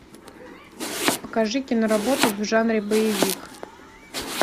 покажи киноработу в жанре боевик